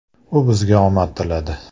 U bizga omad tiladi.